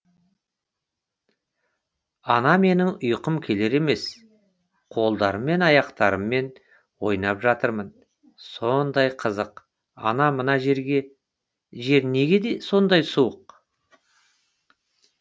ана менің ұйқым келер емес қолдарым мен аяқтарммен ойнап жатырмын сондай қызық ана мына жер неге сондай суық